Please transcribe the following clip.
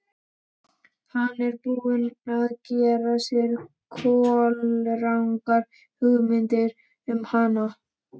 Hann er búinn að gera sér kolrangar hugmyndir um hana.